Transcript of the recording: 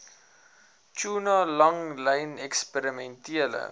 tuna langlyn eksperimentele